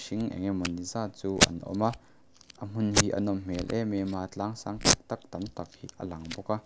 eng emawni zat chu an awm a a hmun hi a nawm hmel em em a tlang sang tak tak tam tak hi a lang bawk a.